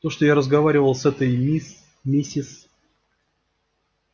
то что я разговаривал с этой мисс миссис